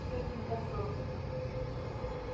всё это не так просто грег